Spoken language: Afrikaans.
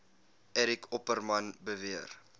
eric opperman beweer